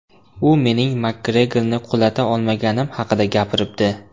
U mening Makgregorni qulata olmaganim haqida gapiribdi.